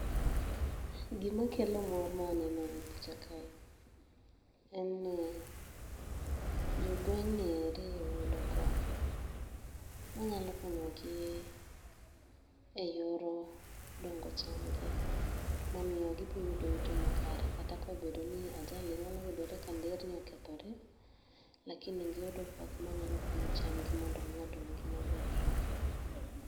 Gima kelo mor ma aneno e picha kae en ni, jo gweng' nieri oyudo koth. Ma nyalo konyo gi e yor dongo cham gi. Mamiyo gibo yudo yuto ma kare. Kata ka obedo ni ajali nyalo yudore ka nderni okethore, lakini giyudo koth manyalo konyo cham gi mondo mi odong maber.